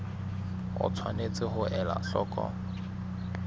o tshwanetse ho ela hloko